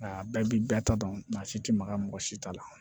A bɛɛ bi bɛɛ ta dɔn maa si ti maga mɔgɔ si ta la